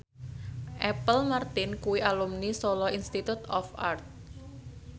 Apple Martin kuwi alumni Solo Institute of Art